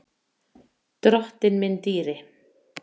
Drottinn minn dýri.